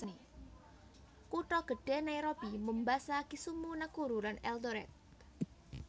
Kutha gedhé Nairobi Mombasa Kisumu Nakuru lan Eldoret